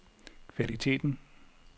kvaliteten